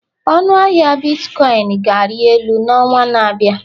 Ọnụ ahịa bitkọịn ga-ari elu n'ọnwa na-abịa